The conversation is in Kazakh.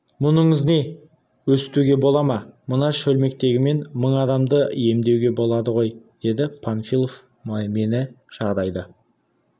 мұныңыз не өстуге бола ма мына шөлмектегімен мың адамды емдеуге болады ғой деді панфилов мені жағдайды